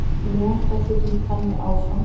Mjaka hlutum þannig áfram.